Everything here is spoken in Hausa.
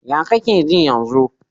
Ya kake ji yanzu?